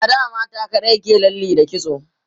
a da mata kaɗai ke lalle da kitso